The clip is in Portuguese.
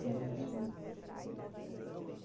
Só um minuto. Ok, pronto?